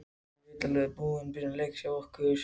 Ég veit alveg hvað þetta var í byrjun leiks hjá okkur.